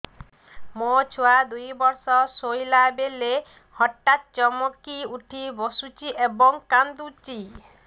ମୋ ଛୁଆ ଦୁଇ ବର୍ଷର ଶୋଇଲା ବେଳେ ହଠାତ୍ ଚମକି ଉଠି ବସୁଛି ଏବଂ କାଂଦୁଛି